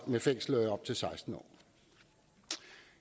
med fængsel i op til seksten år